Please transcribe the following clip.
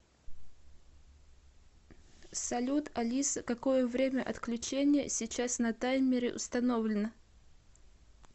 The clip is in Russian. салют алиса какое время отключения сейчас на таймере установлено